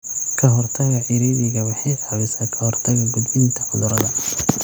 Ka hortagga ciriiriga waxay caawisaa ka hortagga gudbinta cudurrada.